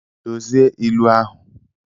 Dozie ilu ahụ!